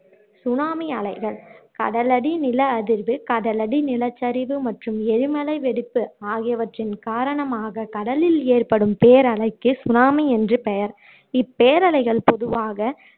tsunami அலைகள் கடலடி நில அதிர்வு கடலடி நிலச்சரிவு மற்றும் எரிமலை வெடிப்பு ஆகியவற்றின் காரணமாக கடலில் ஏற்படும் பேரலைக்கு சுனாமி என்று பெயர் இப்பேரலைகள் பொதுவாக